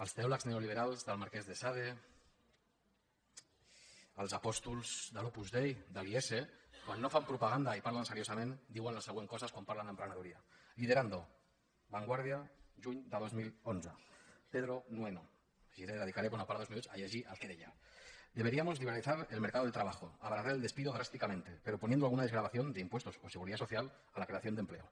els teòlegs neoliberals del marquès d’esade els apòstols de l’opus dei de l’iese quan no fan propaganda i parlen seriosament diuen les següents coses quan parlen d’emprenedoria liderando vanguardia juny del dos mil onze pedro nueno llegiré dedicaré bona part dels minuts a llegir el que deia deberíamos liberalizar el mercado de trabajo abaratar el despido drásticamente pero poniendo alguna desgravación de impuestos o seguridad social a la creación de empleo